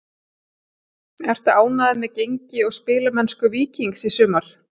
Ertu ánægður með gengi og spilamennsku Víkings í sumar?